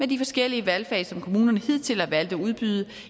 de forskellige valgfag som kommunerne hidtil har valgt at udbyde